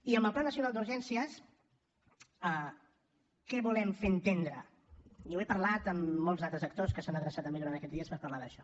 i amb el pla nacional d’urgències què volem fer entendre i ho he parlat amb molts altres actors que s’han adreçat a mi durant aquests dies per parlar d’això